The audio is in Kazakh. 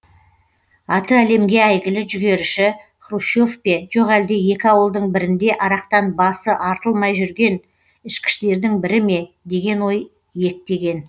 аты әлемге әйгілі жүгеріші хрущев пе жоқ әлде екі ауылдың бірінде арақтан басы артылмай жүрген ішкіштердің бірі ме деген ой иектеген